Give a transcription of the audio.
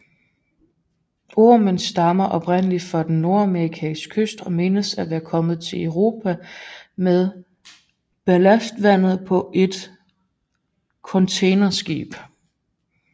Ormen stammer oprindeligt fra den Nordamerikanske kyst og menes at være kommet til Europa med ballastvandet på et containerskib